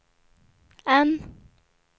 N